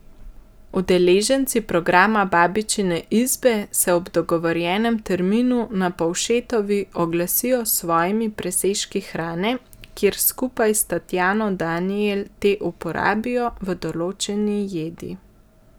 Udeleženci programa Babičine izbe se ob dogovorjenem terminu na Povšetovi oglasijo s svojimi presežki hrane, kjer skupaj s Tatjano Danijel te uporabijo v določeni jedi.